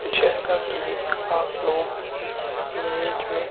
जैसा कि आप लोग इस इमेज में--